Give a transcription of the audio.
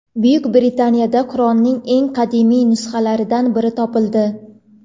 Buyuk Britaniyada Qur’onning eng qadimiy nusxalaridan biri topildi.